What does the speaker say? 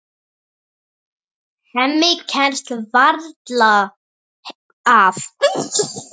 Hemmi kemst varla að.